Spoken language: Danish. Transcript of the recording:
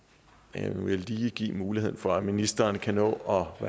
jeg vil lige give mulighed for at ministeren kan nå at